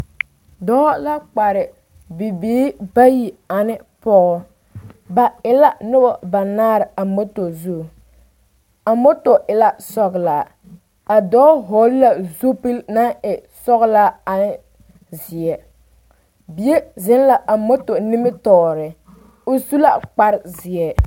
Dɔɔ la kpare bibiiri bayi ane Pɔge ba e la noba banaare a mɔto zu a mɔto e la sɔgelaa a dɔɔ hɔgele la zupili naŋ e sɔgelaa ne zeɛ bie zeŋ la a mɔto nimitɔɔre o su la kpare zeɛ